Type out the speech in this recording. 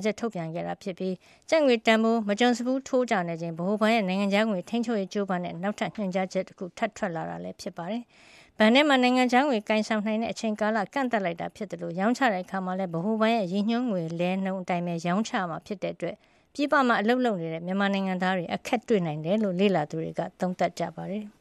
ချက် ထုတ်ပြန်တာဖြစ်ပါတယ်။ ကျပ်ငွေတန်ဖိုး မကြုံစဖူး ထိုးကျနေချိန်၊ ဗဟိုဘဏ်ရဲ့ နိုင်ငံခြားငွေ ထိန်းချုပ်ရေး ကြိုးပမ်းတဲ့ နောက်ထပ် ညွှန်ကြားချက်တခု ထပ်ထွက်လာတာပါ။ ဘဏ်ထဲမှာ နိုင်ငံခြားငွေကိုင်ဆောင်နိုင်တဲ့ အချိန်ကာလကို ကန့်သတ်လိုက်တာဖြစ်သလို၊ ရောင်းချတဲ့အခါမှာလဲ ဗဟိုဘဏ်ရဲ့ ရည်ညွှန်းငွေလဲနှုန်းအတိုင်းပဲ ရောင်းချရမှာဖြစ်တဲ့အတွက် ပြည်ပမှာ အလုပ်လုပ်ကိုင်နေတဲ့ မြန်မာနိုင်ငံသားတွေ အခက်တွေ့နိုင်တယ်လို့ လေ့လာသူတွေ သုံးသပ်ပါတယ်။